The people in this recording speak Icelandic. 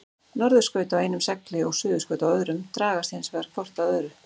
Norðurskaut á einum segli og suðurskaut á öðrum dragast hins vegar hvort að öðru.